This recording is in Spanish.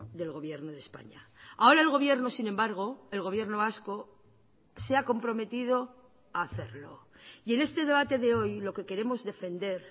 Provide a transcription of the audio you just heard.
del gobierno de españa ahora el gobierno sin embargo el gobierno vasco se ha comprometido a hacerlo y en este debate de hoy lo que queremos defender